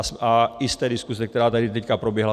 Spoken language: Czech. A i z té diskuse, která tady teď proběhla.